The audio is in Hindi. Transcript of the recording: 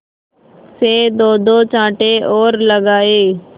से दोदो चांटे और लगाए